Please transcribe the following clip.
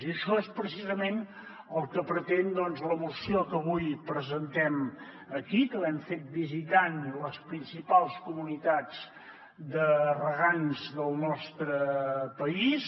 i això és precisament el que pretén doncs la moció que avui presentem aquí que l’hem fet visitant les principals comunitats de regants del nostre país